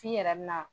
F'i yɛrɛ bɛ na